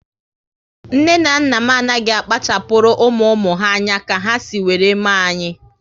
Nne na nna m anaghị akpachapuru ụmụ ụmụ ha anya ka ha si were mee anyị